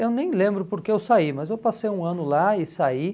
Eu nem lembro porque eu saí, mas eu passei um ano lá e saí.